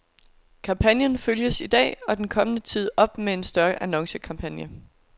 Kampagnen følges i dag og den kommende tid op med en større annoncekampagne.